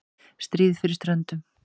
STRÍÐ FYRIR STRÖNDUM